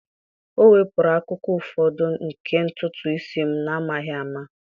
O wepụrụ akụkụ ụfọdụ nke ntutu isi m n'amaghị ama.